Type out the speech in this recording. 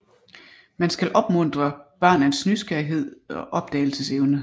Man skal opmuntre barnets nysgerrighed og opdagelsesevne